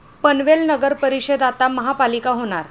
पनवेल नगरपरिषद आता महापालिका होणार